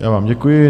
Já vám děkuji.